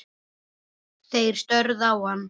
Þeir störðu á hann.